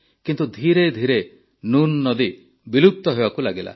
କିନ୍ତୁ ଧିରେ ଧିରେ ନୁନ୍ ନଈ ବିଲୁପ୍ତ ହେବାକୁ ଲାଗିଲା